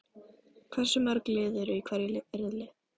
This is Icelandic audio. Hversu mörg lið eru í hverjum riðli?